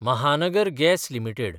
Mahanagar gas limited